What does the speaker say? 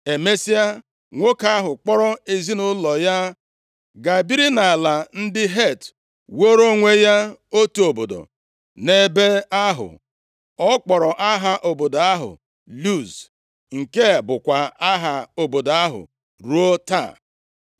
Emesịa, nwoke ahụ kpọọrọ ezinaụlọ ya gaa biri nʼala ndị Het wuoro onwe ya otu obodo nʼebe ahụ. Ọ kpọrọ aha obodo ahụ Luz, nke bụkwa aha obodo ahụ ruo taa.